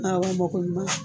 Awɔ mɔgɔ ɲuma.